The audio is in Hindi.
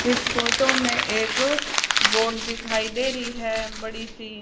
इस फोटो में एक बोट दिखाई दे रही है बड़ी सी।